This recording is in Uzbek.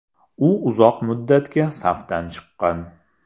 U uzoq muddatga safdan chiqqan.